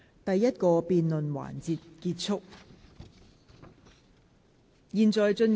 第一個辯論環節結束。